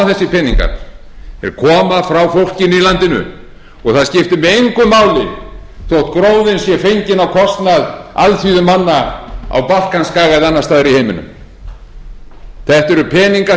peningar þeir koma frá fólkinu í landinu og það skiptir mig engu máli þótt gróðinn sé fenginn á kostnað alþýðumanna á balkanskaga eða annars staðar í heiminum þetta eru peningar